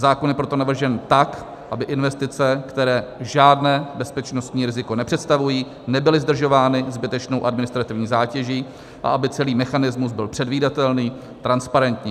Zákon je proto navržen tak, aby investice, které žádné bezpečnostní riziko nepředstavují, nebyly zdržovány zbytečnou administrativní zátěží a aby celý mechanismus byl předvídatelný, transparentní.